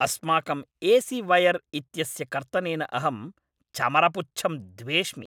अस्माकम् A C wire इत्यस्य कर्तनेन अहं चमरपुच्छं द्वेष्मि।